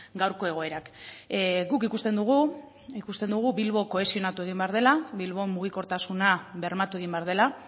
gaurko egoerak guk ikusten dugu ikusten dugu bilbo kohesionatu egin behar dela bilbon mugikortasuna bermatu egin behar dela